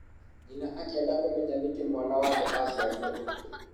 Nyina akĩenda kũmenya nĩkĩ mwana wake aciarirwo ũguo